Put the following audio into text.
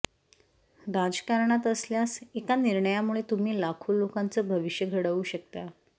राजकारणात असल्यास एका निर्णयामुळे तुम्ही लाखो लोकांचं भविष्य घडवू शकता